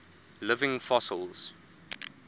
living fossils